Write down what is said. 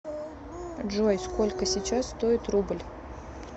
джой сколько сейчас стоит рубль